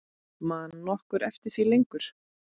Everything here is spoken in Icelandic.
Man nokkur eftir því lengur?